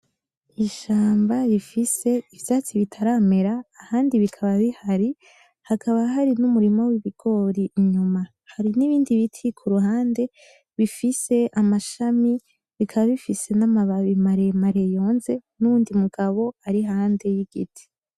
Ishamba rifise ivyatsi bitaramera, ahandi bikaba bihari. Hakaba hari n'umurima w'ibigori inyuma. Hari nibindi biti kuruhande bifise amashami, bikaba bifise namababi maremare yonze nuwundi mugabo ari iruhande yigiti.